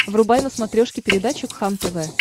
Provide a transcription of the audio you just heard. врубай на смотрешке передачу кхлм тв